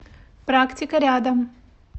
практика рядом